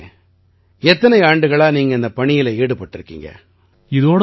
கௌரவ் அவர்களே எத்தனை ஆண்டுகளா நீங்க இந்தப் பணியில ஈடுபட்டிருக்கீங்க